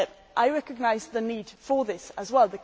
I recognise the need for this as well.